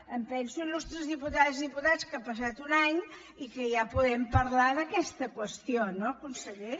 em penso il·lustres diputades i diputats que ha passat un any i que ja podem parlar d’aquesta qüestió no conseller